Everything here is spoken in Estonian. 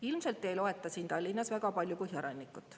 Ilmselt ei loeta siin Tallinnas väga palju Põhjarannikut.